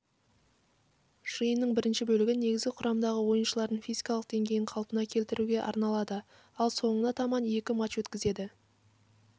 жиынның бірінші бөлігі негізгі құрамдағы ойыншылардың физикалық деңгейін қалпына келтіруге арналады ал соңына таманекі матч өткізеді